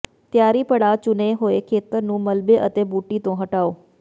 ਤਿਆਰੀ ਪੜਾਅ ਚੁਣੇ ਹੋਏ ਖੇਤਰ ਨੂੰ ਮਲਬੇ ਅਤੇ ਬੂਟੀ ਤੋਂ ਹਟਾਓ